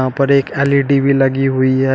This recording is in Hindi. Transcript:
पर एक एल_इ_डी लगी हुई है।